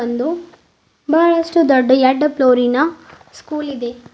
ಒಂದು ಬಹಳಷ್ಟು ದೊಡ್ಡ ಎಡ ಫ್ಲೋರಿನ ಸ್ಕೂಲ್ ಇದೆ.